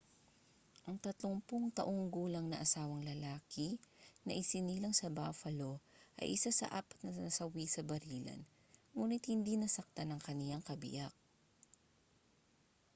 ang 30 taong gulang na asawang lalaki na isinilang sa buffalo ay isa sa apat na nasawi sa barilan nguni't hindi nasaktan ang kaniyang kabiyak